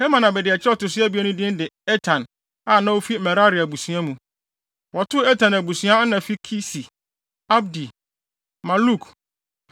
Herman abediakyiri a ɔto so abien no din de Etan, a na ofi Merari abusua mu. Wɔto Etan abusua ana fi Kisi, Abdi, Maluk,